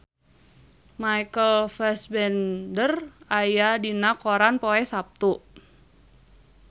Michael Fassbender aya dina koran poe Saptu